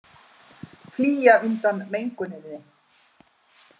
Flýja undan menguninni